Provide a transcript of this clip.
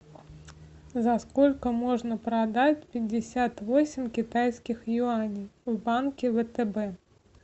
за сколько можно продать пятьдесят восемь китайских юаней в банке втб